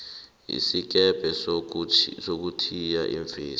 isikebhe sokuthiya iimfesi